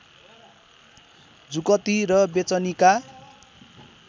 जुकती र बेचनीका